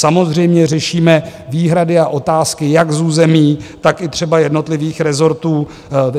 Samozřejmě řešíme výhrady a otázky jak z území, tak i třeba jednotlivých rezortů.